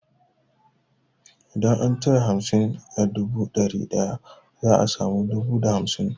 Idan an cire hamsin a dubu da dari daya za a samu dubu da hamsin.